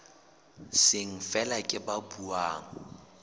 seng feela ke ba buang